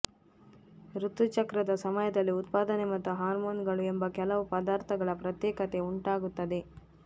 ಋತುಚಕ್ರದ ಸಮಯದಲ್ಲಿ ಉತ್ಪಾದನೆ ಮತ್ತು ಹಾರ್ಮೋನುಗಳು ಎಂಬ ಕೆಲವು ಪದಾರ್ಥಗಳ ಪ್ರತ್ಯೇಕತೆ ಉಂಟಾಗುತ್ತದೆ